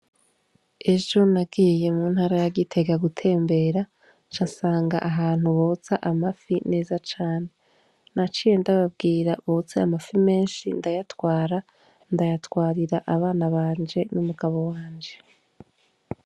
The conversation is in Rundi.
Ejo nagiye mu ntara ya Gitega gutembera nca nsanga ahantu botsa amafi neza cane. Naciye ndababwira botse amafi menshi ndayatwara; ndayatwarira abana banje n'umugabo wanje.